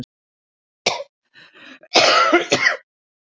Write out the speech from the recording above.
Af hverju segja Hafnfirðingar að ramba í staðinn fyrir að vega salt?